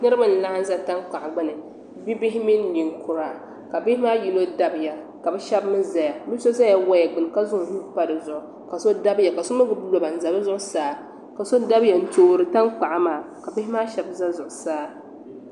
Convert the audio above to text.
Niribi n laɣim za tankpuɣu gbuni bibihi mini ninkura ka bihi maa yino dabiya ka bɛ shɛbi mi zaya bi so zaya waya gbuni ka zaŋ o nuu pa di zuɣu ka so dabiya ka so mi gbubi loba n za bɛ zuɣu saa ka so dabiya n toori tankpaɣu maa ka bihi maa shɛbi za zuɣu saa.